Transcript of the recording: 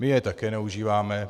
My je také neužíváme.